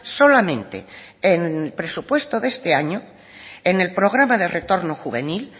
solamente en el presupuesto de este año en el programa de retorno juvenil